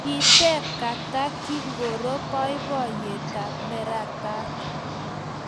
Kiteb Kata kingoro boiboiyetab neratat